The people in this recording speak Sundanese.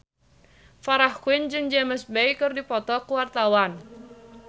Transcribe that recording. Farah Quinn jeung James Bay keur dipoto ku wartawan